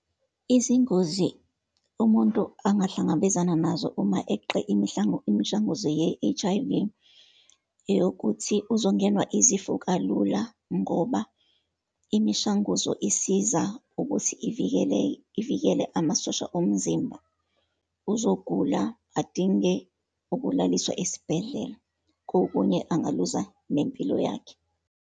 Izingozi umuntu angahlangabezana nazo uma eqe imishanguzo ye-H_I_V, eyokuthi uzongenwa izifo kalula, ngoba imishanguzo isiza ukuthi ivikele, ivikele amasosha omzimba. Uzogula, adinge ukulaliswa esibhedlela, kokunye ungaluza nempilo yakhe.